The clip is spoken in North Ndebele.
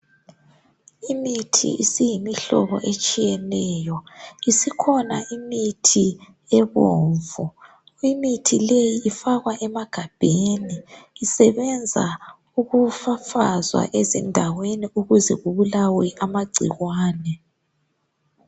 Imithi isiyimihlobo etshiyeneyo. Isikhona imithi ebomvu. Imithi leyi ifakwa emagabheni, isebenza ukufafazwa emandaweni ukuze kubulawe amagcikwane.